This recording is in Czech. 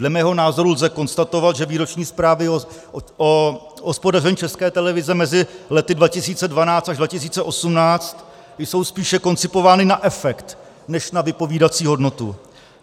Dle mého názoru lze konstatovat, že výroční zprávy o hospodaření České televize mezi lety 2012 až 2018 jsou spíše koncipovány na efekt než na vypovídací hodnotu.